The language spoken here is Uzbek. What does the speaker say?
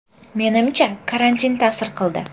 Menimcha, karantin ta’sir qildi.